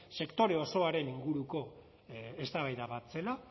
sektore osoaren inguruko eztabaida bat zela